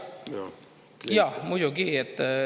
Jaa, muidugi.